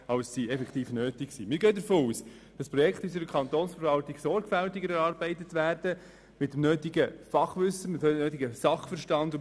Wir gehen vielmehr davon aus, dass die Projekte in der Kantonsverwaltung sorgfältig und mit dem nötigen Sachverstand erarbeitet werden.